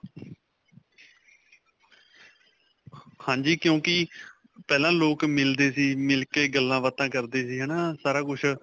ਹਾਂਜੀ. ਕਿਉਂਕਿ ਪਹਿਲਾਂ ਲੋਕ ਮਿਲਦੇ ਸੀ, ਮਿਲਕੇ ਗੱਲਾਂ-ਬਾਤਾਂ ਕਰਦੇ ਸੀ. ਹੈ ਨਾ? ਸਾਰਾ ਕੁਝ.